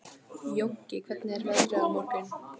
Jónki, hvernig er veðrið á morgun?